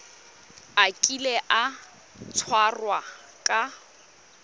a kile a tshwarwa ka